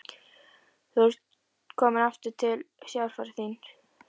Þú ert komin aftur til sjálfrar þín.